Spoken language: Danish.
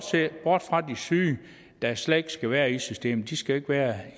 ser bort fra de syge dem der slet ikke skal være i systemet syge skal ikke være